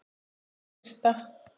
Það fyrsta.